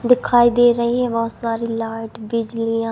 दिखाई दे रही है बहोत सारी लाइट बिजलीयां--